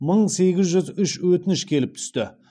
мың сегіз жүз үш өтініш келіп түсті